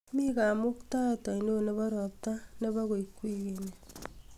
mi kamuktaet ainon nebo robta nebo koik wigini